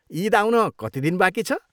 इद आउन कति दिन बाँकी छ ?